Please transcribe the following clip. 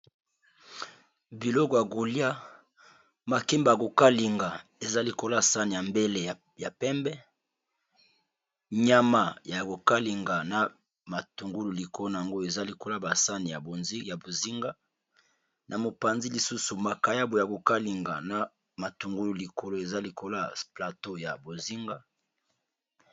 Biloko ya golia makimba ya kokalinga eza likolo yasane ya mbele ya pembe nyama, ya kokalinga na matungulu, likolno yangoyo eza likola basani ya bozinga na mopanzi lisusu makayabo ya kokalinga na matungulu likolo eza likoloy plateau ya bozinga.